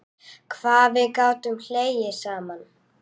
Hvað við gátum hlegið saman.